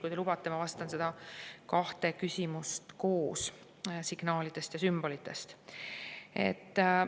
" Kui te lubate, siis vastan kahele küsimusele signaalide ja sümbolite kohta koos.